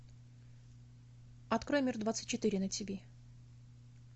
открой мир двадцать четыре на тиви